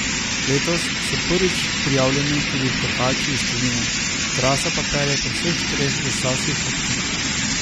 Letos so prvič prijavljeni tudi tekači iz tujine, trasa pa pelje po vseh treh zasavskih občinah.